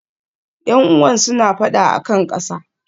Yan'uwan suna fada a kan ƙasa.